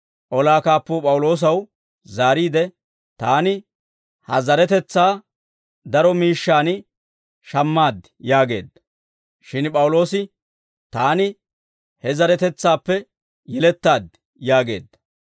Olaa kaappuu P'awuloosaw zaariide, «Taani ha zaretetsaa daro miishshaan shammaad» yaageedda. Shin P'awuloosi, «Taani he zeretsaappe yelettaad» yaageedda.